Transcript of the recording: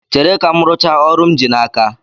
Chere ka m rụchaa ọrụ m ji n'aka